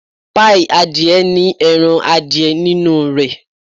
Páíì adìẹ ní ẹran adìẹ nínú rẹ̀.